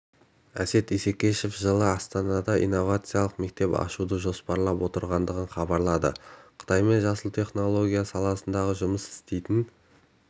әсет исекешев жылы астанада инновациялық мектеп ашуды жоспарлап отырғанын хабарлады қытайдың жасыл технология саласында жұмыс істейтін